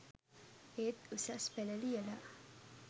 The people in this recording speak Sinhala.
ඒත් උසස් පෙළ ලියලා